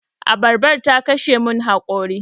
Abarban ta kashe mun haƙori.